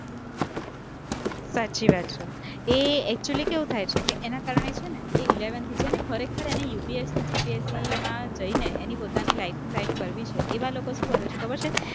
સાચી વાત છે, એ actually કેવું થાય છે કે એના કારણે છે ને એ eleventh થી જેને ખરેખરને એને UPSC-GPSC માં જઈને એની પોતાની life set કરવી છે, એવા લોકો શું કરે છે ખબર છે